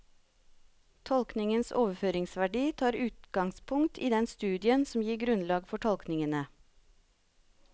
Tolkningens overføringsverdi tar utgangspunkt i den studien som gir grunnlag for tolkningene.